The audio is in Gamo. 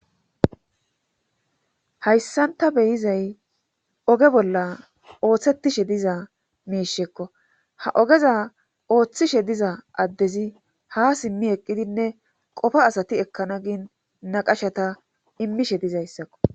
Hayssan ta be7izay oge bolla oothettishe diza miishekko ha ogeza oothoshe diza addezi ha simmim eqqidinne qofa asati ekkana gin naqashata immishe dizayssako.